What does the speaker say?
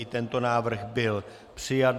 I tento návrh byl přijat.